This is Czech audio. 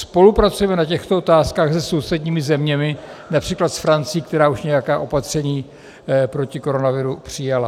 Spolupracujeme na těchto otázkách se sousedními zeměmi, například s Francií, která už nějaká opatření proti koronaviru přijala?